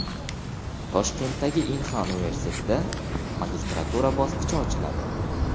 Toshkentdagi Inha universitetida magistratura bosqichi ochiladi.